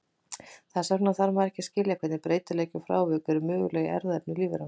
Þess vegna þarf maður að skilja hvernig breytileiki og frávik eru möguleg í erfðaefni lífveranna.